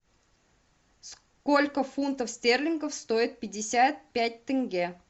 сколько фунтов стерлингов стоит пятьдесят пять тенге